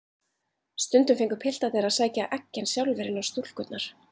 Stundum fengu piltarnir að sækja eggin sjálfir inn á stúlkurnar.